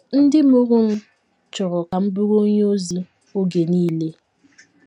Ndị mụrụ m chọrọ ka m bụrụ onye ozi oge nile.